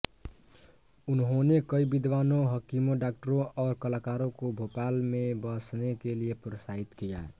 उन्होंने कई विद्वानों हकीमों डॉक्टरों और कलाकारों को भोपाल में बसने के लिए प्रोत्साहित किया